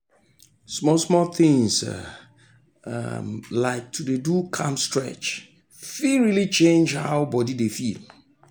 small-small things um like to dey do calm stretch fit really change how body dey feel.